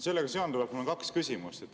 " Sellega seonduvalt mul on kaks küsimust.